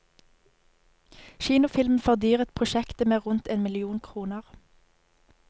Kinofilmen fordyret prosjektet med rundt en million kroner.